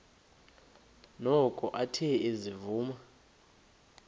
noko athe ezivuma